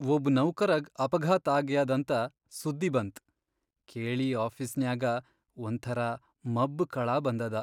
ಒಬ್ ನೌಕರಗ್ ಅಪಘಾತ್ ಆಗ್ಯಾದಂತ ಸುದ್ದಿ ಬಂತ್ ಕೇಳಿ ಆಫೀಸ್ನ್ಯಾಗ ಒಂಥರಾ ಮಬ್ಬ್ ಕಳಾ ಬಂದದ.